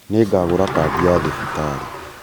nĩngagũra Kandi ya thibitarĩ